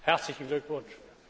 herzlichen Glückwunsch